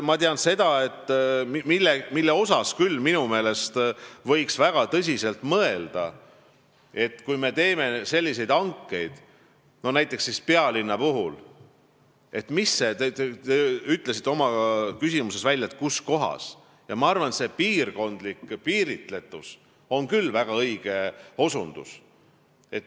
Ma tean – selle üle võiks küll minu meelest väga tõsiselt mõelda –, et kui me teeme selliseid hankeid näiteks pealinnas, siis see piirkondlik piiritletus on küll väga õige osutus.